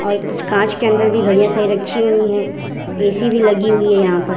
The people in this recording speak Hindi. और इस कांच के अंदर भी घड़ियां सभी रखी हुई है ए.सी. भी लगी हुई है यहां पर।